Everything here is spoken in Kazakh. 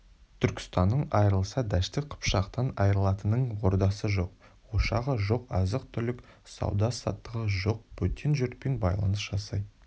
түркістаннан айрылса дәшті қыпшақтан айрылатынын ордасы жоқ ошағы жоқ азық-түлік сауда-саттығы жоқ бөтен жұртпен байланыс жасай